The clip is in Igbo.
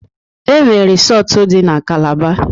Enwere risọtu dị na Calaba.